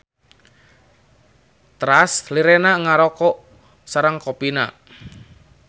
Teras lirenanan ngaroko sareng kopina.